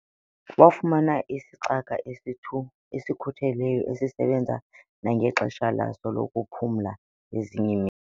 Wafumana isicaka esikhutheleyo esisebenza nangexesha laso lokuphumla ngezinye iimini.